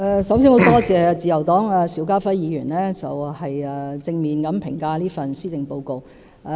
首先，很感謝自由黨邵家輝議員對這份施政報告作出正面評價。